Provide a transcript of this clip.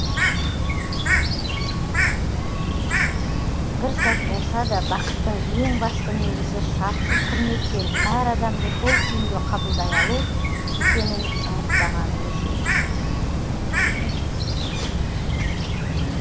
бір сәт болса да бақыттың ең басты негізі шартсыз құрмет пен әр адамды сол күйінде қабылдай алу екенін ұмытпағанымыз жөн